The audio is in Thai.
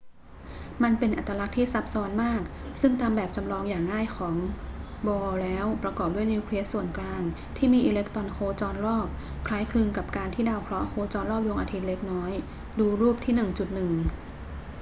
มันเป็นอัตลักษณ์ที่ซับซ้อนมาก ซึ่งตามแบบจำลองอย่างง่ายของ bohr แล้ว ประกอบด้วยนิวเคลียสส่วนกลางที่มีอิเล็กตรอนโคจรรอบ คล้ายคลึงกับการที่ดาวเคราะห์โคจรรอบดวงอาทิตย์เล็กน้อย ดูรูปที่ 1.1